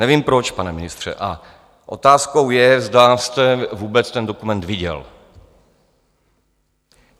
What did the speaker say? Nevím proč, pane ministře, a otázkou je, zda jste vůbec ten dokument viděl.